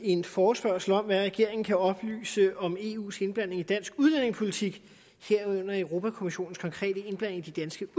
en forespørgsel om hvad regeringen kan oplyse om eus indblanding i dansk udlændingepolitik herunder europa kommissionens konkrete indblanding i de danske